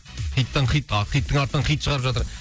хиттан хит а хиттың артынан хит шығарып жатыр